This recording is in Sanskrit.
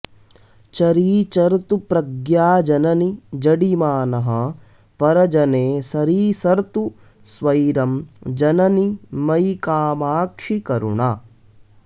चरीचर्तु प्रज्ञाजननि जडिमानः परजने सरीसर्तु स्वैरं जननि मयि कामाक्षि करुणा